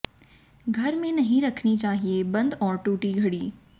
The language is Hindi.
घर में नहीं रखनी चाहिए बंद और टूटी घड़ी